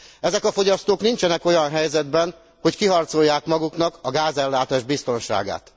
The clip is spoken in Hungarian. Ezek a fogyasztók nincsenek olyan helyzetben, hogy kiharcolják maguknak a gázellátás biztonságát.